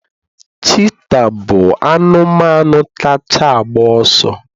Cheetah bụ anụmanụ kacha agba ọsọ